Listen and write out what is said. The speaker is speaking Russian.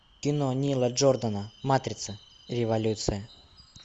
кино нила джордана матрица революция